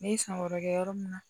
Ne ye san wɛrɛ kɛ yɔrɔ min na